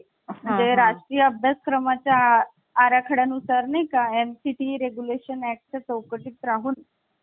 आणि केंद्राकडे कमी Power आहे. पण कॅनडामध्ये केंद्राकडे जास्त Power आहे आणि राज्यांकडे कमी Power आहे. तर आपण हीच पद्धत स्वीकारली आहे. यांनतर उर्वरित अधिकार जे असतात